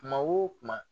Kuma o kuma